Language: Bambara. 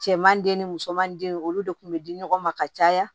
Cɛman den ni musoman den olu de kun be di ɲɔgɔn ma ka caya